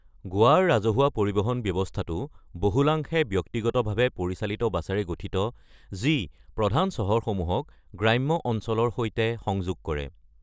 গোৱাৰ ৰাজহুৱা পৰিবহণ ব্যৱস্থাটো বহুলাংশে ব্যক্তিগতভাৱে পৰিচালিত বাছেৰে গঠিত যি প্ৰধান চহৰসমূহক গ্ৰাম্য অঞ্চলৰ সৈতে সংযোগ কৰে।